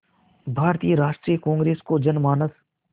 भारतीय राष्ट्रीय कांग्रेस को जनमानस